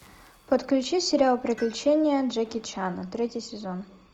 подключи сериал приключения джеки чана третий сезон